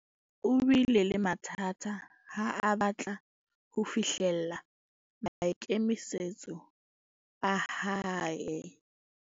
O bile le mathata ha a batla ho fihlella maikemisetso a hae.